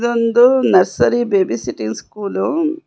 ಇದೊಂದು nursery babysitting school --